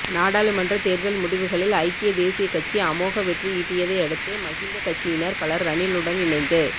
நாடாளுமன்ற தேர்தல் முடிவுகளில் ஐக்கிய தேசியக் கட்சி அமோக வெற்றியீட்டியதை அடுத்து மகிந்த கட்சியினர் பலர் ரணிலுடன் இணைந்து